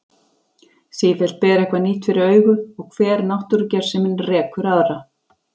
Sífellt ber eitthvað nýtt fyrir augu og hver náttúrugersemin rekur aðra.